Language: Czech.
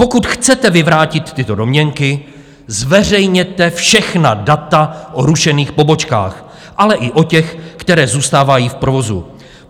Pokud chcete vyvrátit tyto domněnky, zveřejněte všechna data o rušených pobočkách, ale i o těch, které zůstávají v provozu.